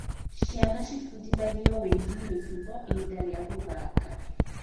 Ciana ciĩbundithagia wĩgiĩ mĩtugo ihinda rĩa gũthaka.